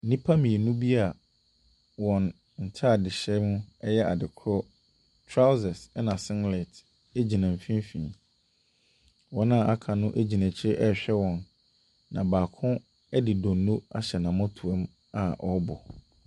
Nnipa mmienu bi a wɔn ntaadehyɛ mu yɛ adekorɔ, trousers na singlet gyina mfimfin. Wɔn a aka no gyina akyire ɛrehwɛ wɔn, na baako de donnoo ahyɛ n’amɔtoa mu a ɔrebɔ.